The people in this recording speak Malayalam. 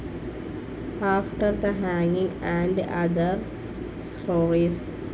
ആഫ്റ്റർ തെ ഹാങ്ങിങ്‌ ആൻഡ്‌ ഓതർ സ്റ്‍റോറീസ്